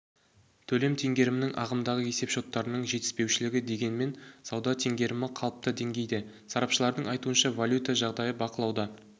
төлем теңгерімінің ағымдағы есепшоттарының жетіспеушілігі дегенмен сауда теңгерімі қалыпты деңгейде сарапшылардың айтуынша валюта жағдайы бақылауда